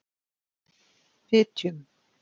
Fitjum